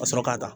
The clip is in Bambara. Ka sɔrɔ ka taa